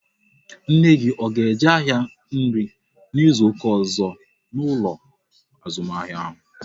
Nne gị a ga-eje ahịa nri n'izuka ọzọ n'ụlọ azụmahịa ahụ?